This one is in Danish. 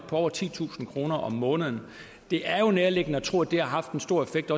på over titusind kroner om måneden det er jo nærliggende at tro at det har haft en stor effekt